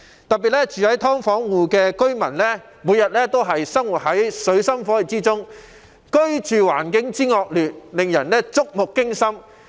特別是，"劏房戶"每天生活在水深火熱之中，居住環境惡劣，令人觸目驚心。